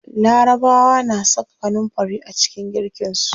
Larabawa na saka kanunfari a cikin girkin su.